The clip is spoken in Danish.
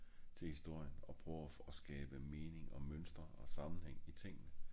til historien og prøver at skabe mening og mønstre og sammenhæng i tingene